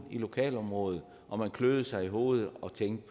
i lokalområdet og man kløede sig i hovedet og tænkte